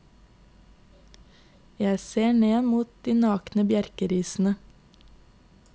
Jeg ser mot de nakne bjerkerisene.